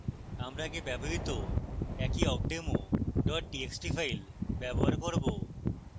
আমরা আগে ব্যবহৃত একই awkdemo txt file ব্যবহার করব